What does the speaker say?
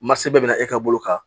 Masa bɛɛ bɛna e ka bolo kan